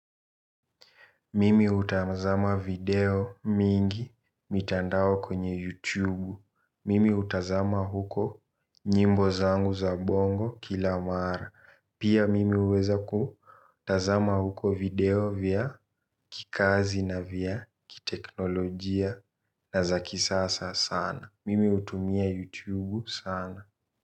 Mimi utamzama video mingi mitandao kwenye YouTube Mimi utazama huko nyimbo zangu za bongo kila maara. Pia mimi uweza ku tazama huko video vya kikazi na vya kiteknolojia na za kisasa sana. Mimi utumia YouTube sana.